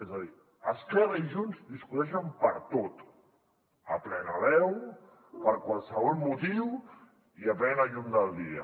és a dir esquerra i junts discuteixen per tot a plena veu per qualsevol motiu i a plena llum del dia